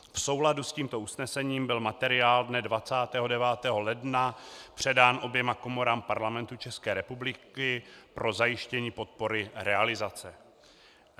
V souladu s tímto usnesením byl materiál dne 29. ledna předán oběma komorám Parlamentu České republiky pro zajištění podpory realizace.